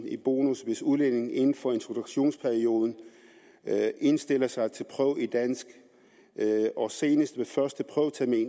i bonus hvis udlændingen inden for introduktionsperioden indstiller sig til prøve i dansk og senest